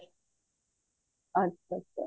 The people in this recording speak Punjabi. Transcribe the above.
ਅੱਛਾ ਅੱਛਾ